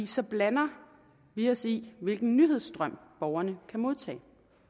så blander vi os i hvilken nyhedsstrøm borgerne kan modtage